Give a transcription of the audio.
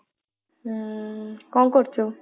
ଉଁ କଣ କରୁଛୁ ?